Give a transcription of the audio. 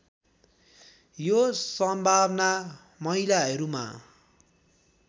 यो सम्भावना महिलाहरूमा